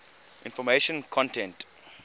information content